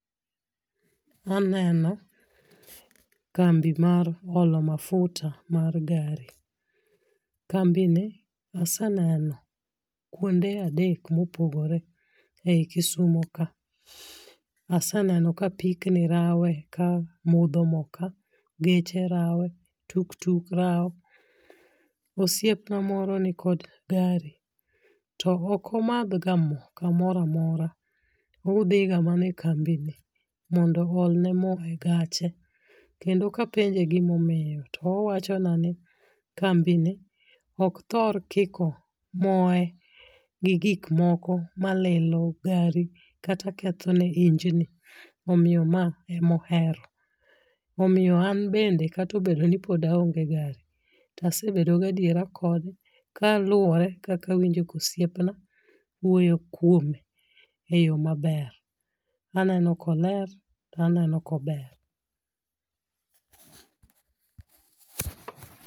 Aneno kambi mar olo mafuta mar gari, kambini aseneno kuonde adek mopogore ei Kisumo ka. Aseneno ka apikni rawe kamodho mo ka geche rawe, tuk tuk rawe. Osiepna moro nikod gari to ok omadhga mo kamoro amora, odhiga mana e kambini mondo oolne mo e gache. Kendo ka penje gima omiyo to owachona ni kambini ok thor kiko moe gi gik moko malilo gari kata ketho ne injini omiyo mae ema ohero. Omiyo an bende kata pod aonge gari to asebedo gi adiera kode kaluwore gi kaka osiepna wuoyo kuome. Aneno koler aneno ka ober.